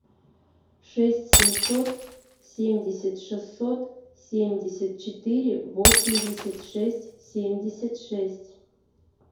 шесть семьсот семьдесят шестьсот семьдесят четыре восемьдесят шесть семьдесят шесть